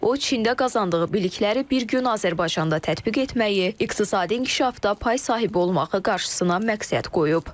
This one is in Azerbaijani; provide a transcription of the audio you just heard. O Çində qazandığı bilikləri bir gün Azərbaycanda tətbiq etməyi, iqtisadi inkişafda pay sahibi olmağı qarşısına məqsəd qoyub.